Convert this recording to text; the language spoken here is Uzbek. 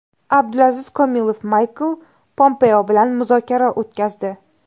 Abdulaziz Komilov Maykl Pompeo bilan muzokara o‘tkazdi.